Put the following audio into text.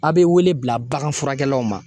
A' be wele bila baganfurakɛlaw ma